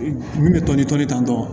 Min bɛ tɔni tɔnden ta tɔ